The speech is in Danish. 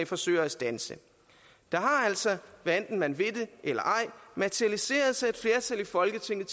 forsøger at standse der har altså hvad enten man vil det eller ej materialiseret sig et flertal i folketinget